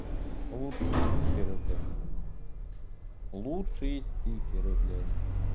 лучшие стикеры блядь лучшие стикеры блядь